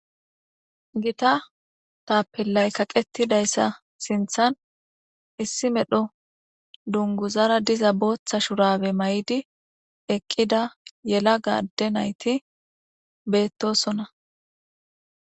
Githa tapelayi kaqetidayisa sinthan issi medho dunguzara diza botha shurabe mayidi eqida yelaga ade nayiti betosona